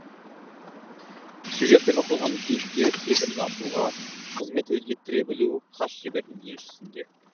сюжет пен оқиғаны кейіпкер сезімін ашуға қызмет еттіре білу қас шебердің еншісінде